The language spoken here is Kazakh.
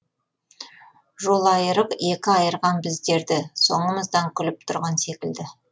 жолайырық екі айырған біздерді соңымыздан күліп тұрған секілді